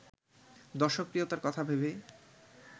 দর্শকপ্রিয়তার কথা ভেবেই